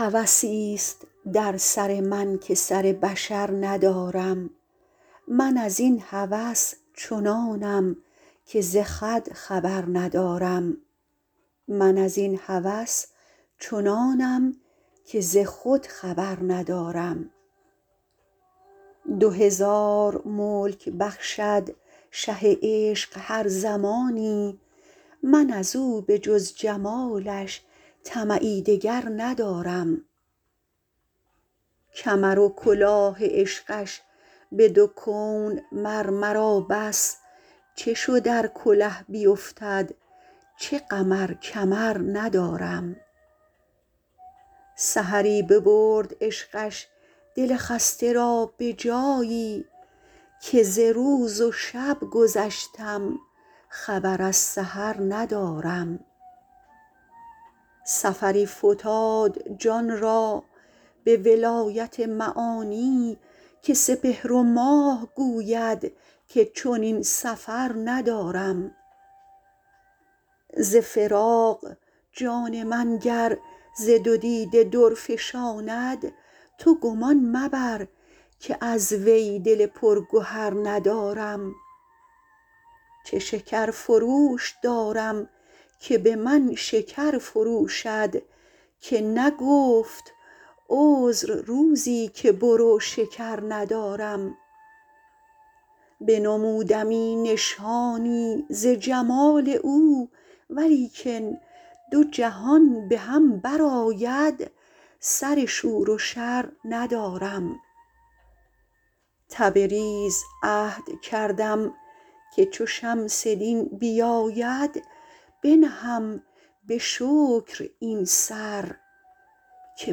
هوسی است در سر من که سر بشر ندارم من از این هوس چنانم که ز خود خبر ندارم دو هزار ملک بخشد شه عشق هر زمانی من از او به جز جمالش طمعی دگر ندارم کمر و کلاه عشقش به دو کون مر مرا بس چه شد ار کله بیفتد چه غم ار کمر ندارم سحری ببرد عشقش دل خسته را به جایی که ز روز و شب گذشتم خبر از سحر ندارم سفری فتاد جان را به ولایت معانی که سپهر و ماه گوید که چنین سفر ندارم ز فراق جان من گر ز دو دیده در فشاند تو گمان مبر که از وی دل پرگهر ندارم چه شکرفروش دارم که به من شکر فروشد که نگفت عذر روزی که برو شکر ندارم بنمودمی نشانی ز جمال او ولیکن دو جهان به هم برآید سر شور و شر ندارم تبریز عهد کردم که چو شمس دین بیاید بنهم به شکر این سر که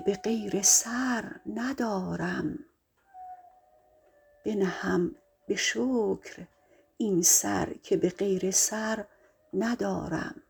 به غیر سر ندارم